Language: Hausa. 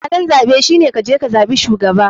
Halin zaɓe shine kaje kazaɓi shugaba.